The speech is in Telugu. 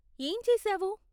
ఏం చేసావు?